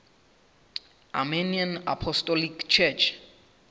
armenian apostolic church